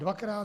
Dvakrát?